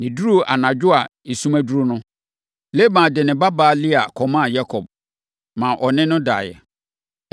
Na ɛduruu anadwo a esum aduru no, Laban de ne babaa Lea kɔmaa Yakob, maa ɔne no daeɛ.